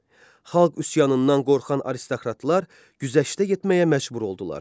Xalq üsyanından qorxan aristokratlar güzəştə getməyə məcbur oldular.